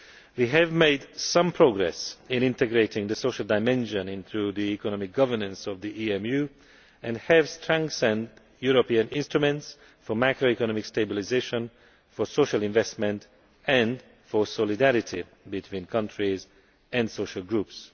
We have made some progress in integrating the social dimension into the economic governance of the EMU and have strengthened European instruments for macroeconomic stabilisation, social investment and solidarity between countries and social groups.